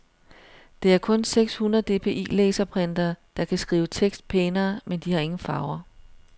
Det er kun seks-hundrede-dpi-laserprintere, der kan skrive tekst pænere, men de har ingen farver.